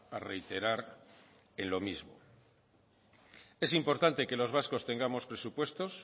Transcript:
a reiterar en lo mismo es importante que los vascos tengamos presupuestos